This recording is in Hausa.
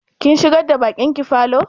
Kin shigar da baƙin ki falo?